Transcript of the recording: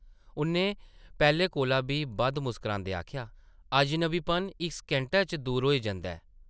उʼन्नै पैह्लें कोला बी बद्ध मुस्करांदे आखेआ , अजनबीपन इक सकिंटै च दूर होई जंदा ऐ ।